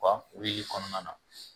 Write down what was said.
wulili kɔnɔna na